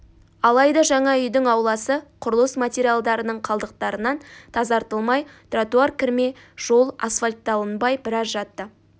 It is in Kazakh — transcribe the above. алайда жаңа үйдің ауласы құрылыс материалдарының қалдықтарынан тазартылмай тротуар кірме жол асфальтталынбай біраз жатты